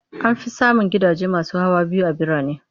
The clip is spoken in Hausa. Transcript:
An fi samun gidaje masu hawa biyu a birane.